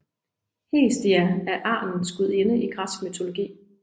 Hestia er arnens gudinde i græsk mytologi